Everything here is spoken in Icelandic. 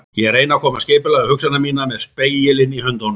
Ég reyni að koma skipulagi á hugsanir mínar með spegilinn í höndunum.